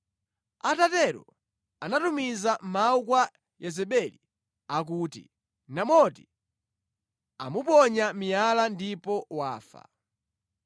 Atatero anatumiza mawu kwa Yezebeli akuti, “Naboti amuponya miyala ndipo wafa.”